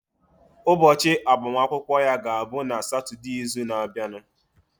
Ụbọchị agbamakwụkwọ ya ga-abụ na Satọdee izu na abianu